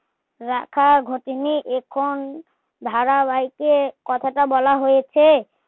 রাখা ঘটেনি এখন ধারাবাইকে কথাটা বলা হয়েছে